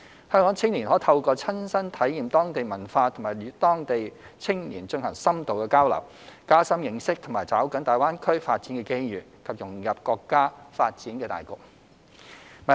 香港青年可透過親身體驗當地文化及與當地青年進行深度交流，加深認識和抓緊大灣區發展的機遇，以及融入國家發展大局。